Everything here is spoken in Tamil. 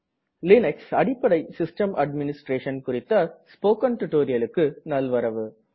லினக்ஸ் அடிப்படை சிஸ்டம் அட்மிணிஸ்டரேஸன் குறித்த ஸ்போகன் டுடோரியலுக்கு நல்வரவு